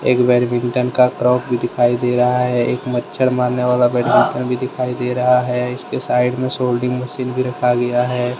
एक बैडमिंटन का क्रोक भी दिखाई दे रहा है। एक मच्छर मारने वाला बैटमिंटन भी दिखाई दे रहा है। इसके साइड में सोल्डिंग मशीन भी रखा गया है।